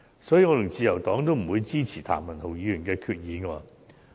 所以，我與自由黨均不會支持譚文豪議員的議案。